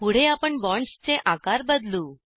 पुढे आपण बॉन्ड्सचे आकार बदलू